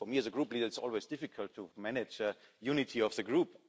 For me as a group leader, it's always difficult to manage the unity of the group.